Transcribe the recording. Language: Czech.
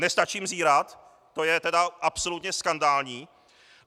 Nestačím zírat, to je teda absolutně skandální!